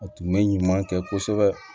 A tun bɛ ɲuman kɛ kosɛbɛ